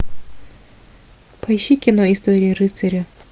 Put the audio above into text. поищи кино история рыцаря